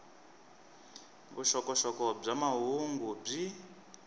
vuxokoxoko bya mahungu byi